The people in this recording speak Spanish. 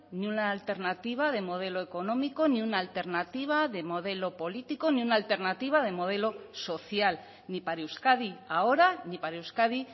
ni una alternativa de modelo económico ni una alternativa de modelo político ni una alternativa de modelo social ni para euskadi ahora ni para euskadi